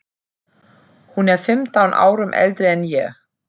Hún er fimmtán árum eldri en ég.